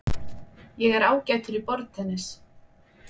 Ég er ágætur í borðtennis.